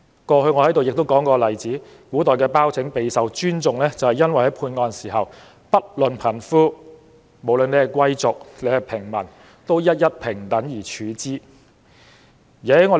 過去我提過一個例子，古代的包拯備受尊重，因為判案時，不論貧富、貴族、平民，都得到平等對待。